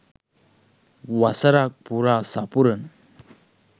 වසරක් පුරා සපුරන